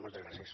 moltes gràcies